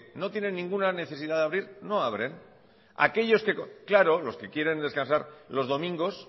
no tienen ninguna necesidad de abrir no abren aquellos que claro los que quieren descansar los domingos